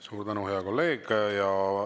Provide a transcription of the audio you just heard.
Suur tänu, hea kolleeg!